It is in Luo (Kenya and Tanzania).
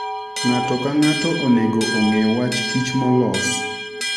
Ng'ato ka ng'ato onego ong'e wach kich molos.